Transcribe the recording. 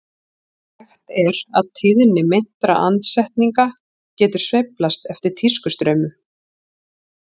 Þekkt er að tíðni meintra andsetninga getur sveiflast eftir tískustraumum.